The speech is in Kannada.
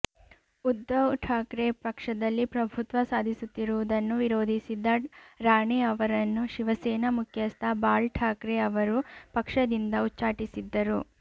ಉದ್ಧವ್ ಠಾಕ್ರೆ ಪಕ್ಷದಲ್ಲಿ ಪ್ರಭುತ್ವ ಸಾಧಿಸುತ್ತಿರುವುದನ್ನು ವಿರೋಧಿಸಿದ್ದ ರಾಣೆ ಅವರನ್ನು ಶಿವಸೇನಾ ಮುಖ್ಯಸ್ಥ ಬಾಳ್ ಠಾಕ್ರೆ ಅವರು ಪಕ್ಷದಿಂದ ಉಚ್ಚಾಟಿಸಿದ್ದರು